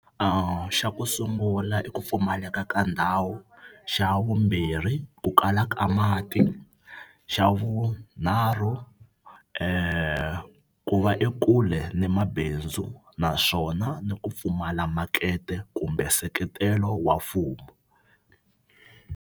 Xa ku sungula i ku pfumaleka ka ndhawu. Xa vumbirhi ku kala ka mati. Xa vunharhu ku va ekule ni mabindzu naswona ni ku pfumala makete kumbe nseketelo wa mfumo.